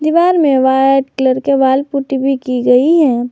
दीवार में white colour के वॉल पुट्टी भी की गई है।